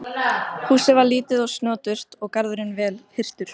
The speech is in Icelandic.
Húsið var lítið og snoturt og garðurinn vel hirtur.